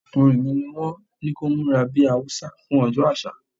Ọmọkùnrin mi ní wón ní kó múra bí Haúsá fún ọjọ́ àṣà.